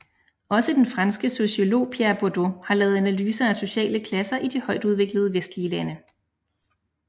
Også den franske sociolog Pierre Bourdieu har lavet analyser af sociale klasser i de højtudviklede vestlige lande